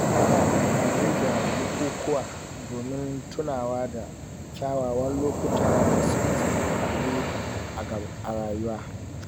Ana amfani da bukukuwa domin tunawa da kyawawan lokuta da suka faru a rayuwa